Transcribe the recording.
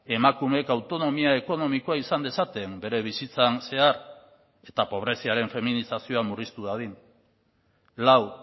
emakumeek autonomia ekonomikoa izan dezaten bere bizitzan zehar eta pobreziaren feminizazioa murriztu dadin lau